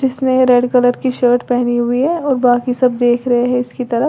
जिसने red colour की shirt पहनी हुई है और बाकी सब देख रहे है इसकी तरफ।